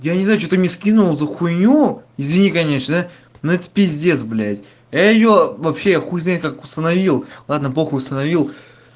я не знаю что ты мне скинул за хуйню извини конечно ну это пиздец блядь а её вообще хуй знает как установил ладно похуй установил